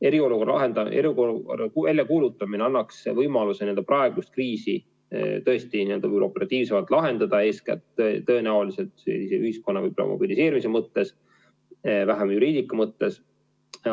Eriolukorra väljakuulutamine annaks võimaluse praegust kriisi tõesti operatiivsemalt lahendada, eeskätt tõenäoliselt ühiskonna mobiliseerimise mõttes, vähem juriidika mõttes.